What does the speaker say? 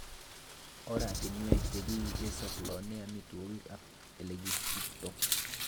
Oratinwek chekisampolenen amitwogik ak elekisiptoo.